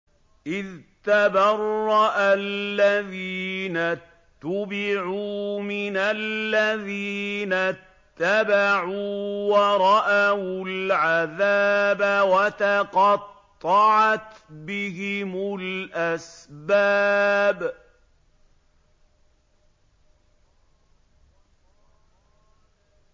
إِذْ تَبَرَّأَ الَّذِينَ اتُّبِعُوا مِنَ الَّذِينَ اتَّبَعُوا وَرَأَوُا الْعَذَابَ وَتَقَطَّعَتْ بِهِمُ الْأَسْبَابُ